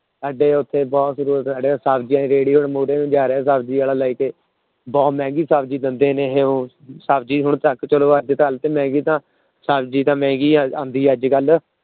ਸਾਡੇ ਉੱਥੇ ਬਹੁਤ ਸਾਡੇ ਸਬਜ਼ੀ ਰੇਹੜੀ ਮੂਹਰੇ ਨੂੰ ਜਾ ਰਿਹਾ ਸਬਜ਼ੀ ਵਾਲਾ ਲੈ ਕੇ ਬਹੁਤ ਮਹਿੰਗੀ ਸਬਜ਼ੀ ਦਿੰਦੇ ਨੇ ਇਹ ਸਬਜ਼ੀ ਹੁਣ ਘੱਟ ਚਲੋ ਅੱਜ ਕੱਲ੍ਹ ਤੇ ਨਹੀਂ ਤਾਂ ਸਬਜ਼ੀ ਤਾਂ ਮਹਿੰਗੀ ਆ ਆਉਂਦੀ ਅੱਜ ਕੱਲ੍ਹ।